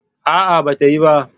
A'a, ba ta yi ba.